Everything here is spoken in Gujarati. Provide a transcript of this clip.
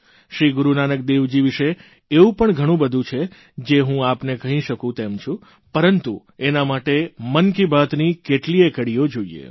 શ્રી ગુરૂ નાનકદેવજી વિષે એવું ઘણું બધું છે જે હું આપને કહી શકું તેમ છું પરંતુ એના માટે મન કી બાતની કેટલીયે કડીઓ જોઇએ